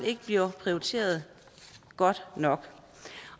ikke bliver prioriteret godt nok